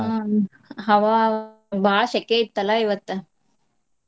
ಆಹ್ ಹವಾ ಬಾಳ ಶೆಕೆ ಇತ್ತಲ್ಲಾ ಇವತ್ತ.